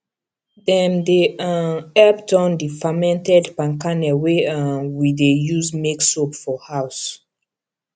dem dey um help turn the fermented palm kernel wey um we dey use make soap for house